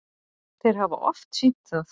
Þeir hafa oft sýnt það.